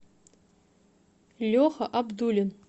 леха абдулин